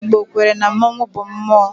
Ndị Igbo kwere na mmonwu bụ mmụọ